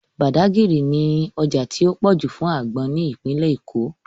Badagry ní ọjà tó pọ̀ jù fún àgbọn ní ìpínlẹ̀ Èkó